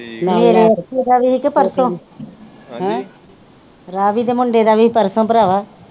ਮੇਰੇ ਉਹਦਾ ਵੀ ਹੀ ਕੇ ਪਰਸੋ ਰਾਵੀ ਦੇ ਮੁੰਡੇ ਦਾ ਵੀ ਹੀ ਪਰਸੋ ਭਰਾਵਾਂ।